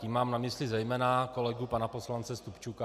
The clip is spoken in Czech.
Tím mám na mysli zejména kolegu pana poslance Stupčuka.